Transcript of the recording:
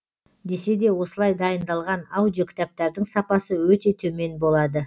десе де осылай дайындалған аудиокітаптардың сапасы өте төмен болады